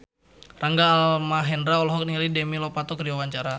Rangga Almahendra olohok ningali Demi Lovato keur diwawancara